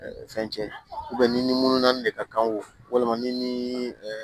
fɛn cɛ ni ni mununan ni de ka kan walima ni